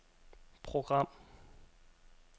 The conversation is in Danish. program